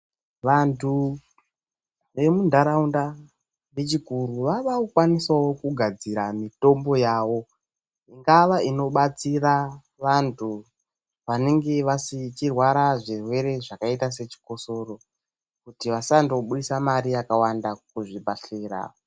Vantu vemuntaraunda vechikuru vavakukwanisawo kugadzira mitombo yavo ingava inobatsira vantu vanenge vachirwara zvirwere zvakaita sechikosoro kuti vasandobudisa mare yakawanda kuzvibhedhlera.